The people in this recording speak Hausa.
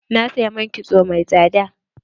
Na saya man kitso mai tsada.